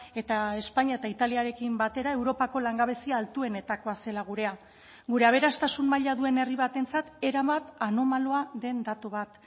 eta espainia eta italiarekin batera europako langabezia altuenetakoa zela gurea gure aberastasun maila duen herri batentzat erabat anomaloa den datu bat